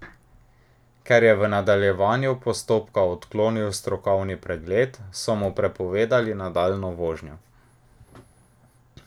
Ker je v nadaljevanju postopka odklonil strokovni pregled, so mu prepovedali nadaljnjo vožnjo.